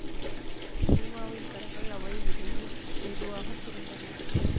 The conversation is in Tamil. சீமாவின் கரங்கள் அவள் இடையில் மெதுவாக சுருண்டன